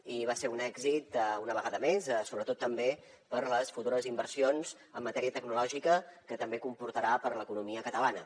i va ser un èxit una vegada més sobretot també per les futures inversions en matèria tecnològica que també comportarà per a l’economia catalana